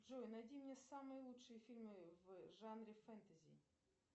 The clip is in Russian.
джой найди мне самые лучшие фильмы в жанре фэнтези